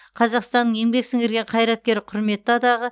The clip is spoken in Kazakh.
қазақстанның еңбек сіңірген қайраткері құрметті атағы